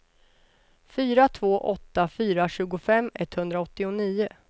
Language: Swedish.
fyra två åtta fyra tjugofem etthundraåttionio